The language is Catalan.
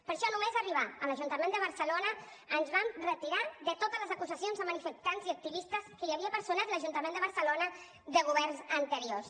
per això no·més arribar a l’ajuntament de barcelona ens vam retirar de totes les acusacions a manifestants i activistes que hi havia personat l’ajuntament de barcelona de governs anteriors